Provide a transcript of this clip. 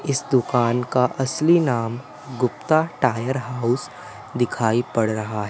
इस दुकान का असली नाम गुप्ता टायर हाउस दिखाई पड़ रहा --